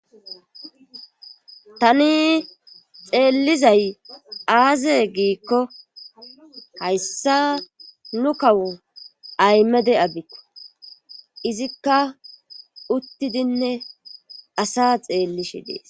tani xeellizay aaze giikko hayssa nu kawo aymede abikko izikka uttidinne asa xeellishi dees